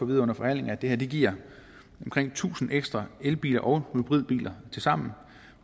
vide under forhandlingerne at det her giver omkring tusind ekstra elbiler og hybridbiler tilsammen